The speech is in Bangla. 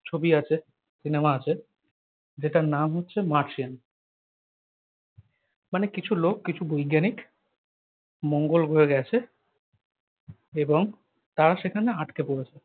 ছবি আছে সিনেমা আছে যেটার নাম হচ্ছে মার্সিয়ান। মানে কিছু লোক কিছু বৈজ্ঞানিক মঙ্গল গ্রহে গেছে এবং তারা সেখানে আটকে পড়েছে।